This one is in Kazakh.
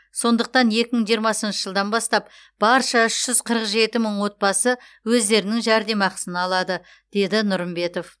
сондықтан екі мың жиырмасыншы жылдан бастап барша үш жүз қырық жеті мың отбасы өздерінің жәрдемақысын алады деді нұрымбетов